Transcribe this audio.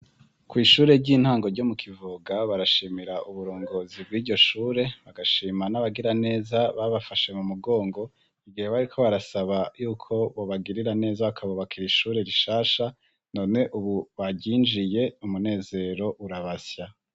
Kw'ishure ry'intango ryo mu Kivoga barashimira uburongozi bw'iryo shure bagashima n'abagira neza babafashe mu mugongo igihe bariko barasaba yuko bobagirira neza bakabubakira ishure rishasha none ubu baryinjiye umunezero urabasya.